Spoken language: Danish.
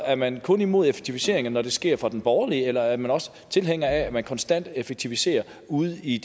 er man kun imod effektiviseringer når de sker fra den borgerlige side eller er man også tilhænger af at man konstant effektiviserer ude i